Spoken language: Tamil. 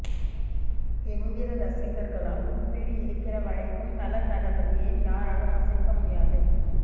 என்கிற ரசிகர்களால் ஒப்பீடு இருக்கிற வரைக்கும் தல தளபதியின் யாராலும் அசைக்க முடியாது